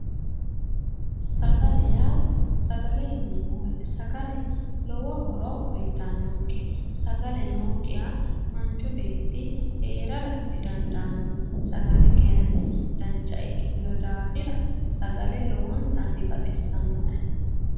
Sagale yaa. sagale yineemmo woyiite sagale lowo horo uuyitannonke sagale nookkiha manchu beetti heerara didandaanno. sagale kaayiinni dancha ikkitino daafira lowontanni baxissannoe.